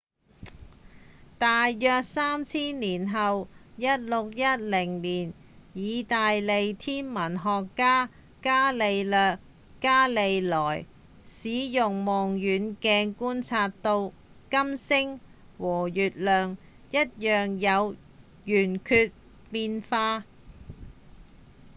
大約三千年後1610年義大利天文學家伽利略·伽利萊使用望遠鏡觀察到金星和月亮一樣有圓缺變化